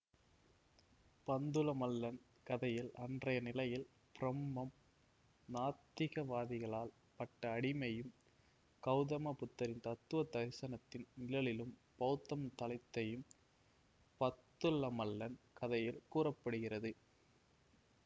பந்துலமல்லன் கதையில் அன்றைய நிலையில் ப்ரம்மம் நாத்திகவாதிகளால் பட்ட அடியையும் கௌதம புத்தரின் தத்துவ தரிசனத்தின் நிழலில் பௌத்தம் தழைத்ததையும் பந்துலமல்லன் கதையில் கூற படுகிறது